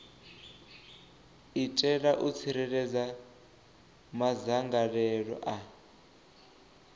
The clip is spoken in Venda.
itela u tsireledza madzangalelo a